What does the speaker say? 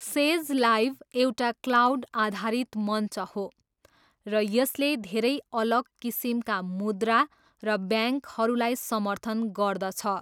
Says Live एउटा cloud आधारित मञ्च हो, र यसले धेरै अलग किसिमका मुद्रा र ब्याङ्कहरूलाई समर्थन गर्दछ।